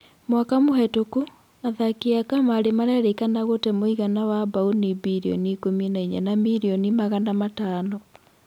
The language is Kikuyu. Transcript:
Mwaka mũhetũku, athaki a kamarĩ marerĩkana gute mũigana wa Mbaũni mbirioni ikũmi na-inya na mirioni magana matano.